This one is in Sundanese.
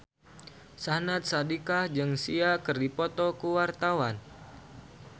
Syahnaz Sadiqah jeung Sia keur dipoto ku wartawan